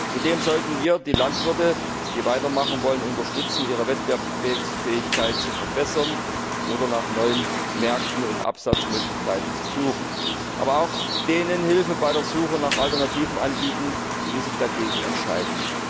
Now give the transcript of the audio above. Zudem sollten wir die Landwirte, die weitermachen wollen, dabei unterstützen, ihre Wettbewerbsfähigkeit zu verbessern oder nach neuen Märkten und Absatzmöglichkeiten zu suchen, aber auch denen Hilfe bei der Suche nach Alternativen anbieten, die sich dagegen entscheiden.